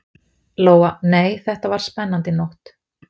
Lóa: Nei, þetta var spennandi nótt?